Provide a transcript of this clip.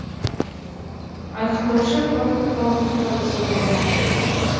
айқындаушы фактор халықтың табысы болмақ